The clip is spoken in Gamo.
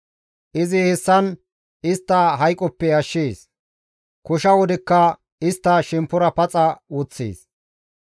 Izi hessan istta hayqoppe ashshees; kosha wodekka istta shemppora paxa woththees.